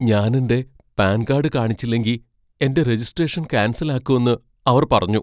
ഞാൻ എന്റെ PAN card കാണിച്ചില്ലെങ്കി എന്റെ രജിസ്ട്രേഷൻ ക്യാൻസൽ ആക്കുന്ന് അവർ പറഞ്ഞു.